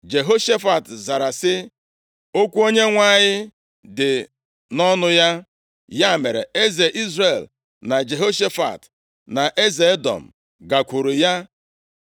Jehoshafat zara sị, “Okwu Onyenwe anyị dị nʼọnụ ya.” Ya mere, eze Izrel na Jehoshafat, na eze Edọm, gakwuru ya.